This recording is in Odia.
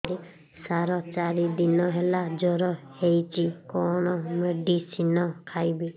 ସାର ଚାରି ଦିନ ହେଲା ଜ୍ଵର ହେଇଚି କଣ ମେଡିସିନ ଖାଇବି